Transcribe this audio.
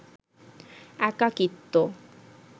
একাকিত্ব